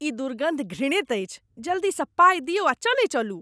ई दुर्गन्ध घृणित अछि। जल्दीसँ पाइ दियौ आ चलै चलू।